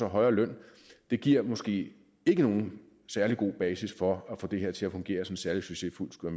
højere løn giver måske ikke nogen særlig god basis for at få det her til at fungere som noget særlig succesfuldt skulle